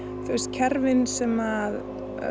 kerfin sem